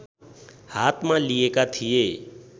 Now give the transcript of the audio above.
हातमा लिएका थिए